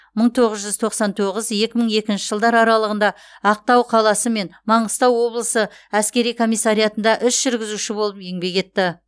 мың тоғыз жүз тоқсан тоғыз екі мың екінші жылдар аралығында ақтау қаласы мен маңғыстау облысы әскери комиссариатында іс жүргізуші болып еңбек етті